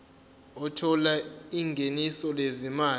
othola ingeniso lezimali